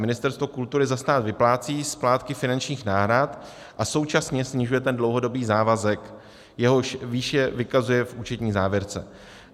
Ministerstvo kultury za stát vyplácí splátky finančních náhrad a současně snižuje ten dlouhodobý závazek, jehož výši vykazuje v účetní závěrce.